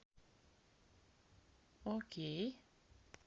окей